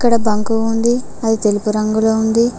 ఇక్కడ బంకు ఉంది అది తెలుపు రంగులో ఉంది.